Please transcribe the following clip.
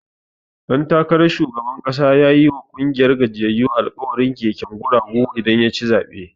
Ɗan takaran shugaban ƙasa yayi ma ƙungiyar gajiyyayu alkawarin keken guragu idan yaci zaɓe.